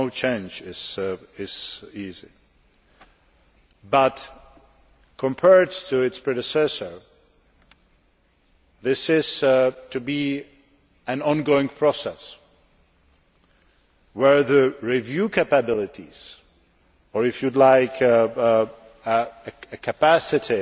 process. No change is easy but, compared to its predecessor, this is to be an ongoing process where the review capabilities or, if you like,